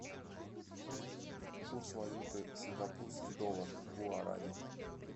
курс валюты сингапурский доллар в гуарани